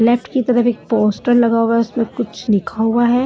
Left की तरफ एक पोस्टर लगा हुआ है उसमें कुछ लिखा हुआ है।